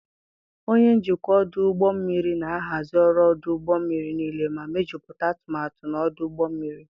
Onye njikwa ọdụ ụgbọ mmiri na-ahazi ọrụ ọdụ ụgbọ mmiri niile ma mejuputa atumatu na ọdụ ụgbọ mmiri.